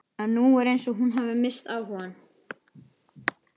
En nú er eins og hún hafi misst áhugann.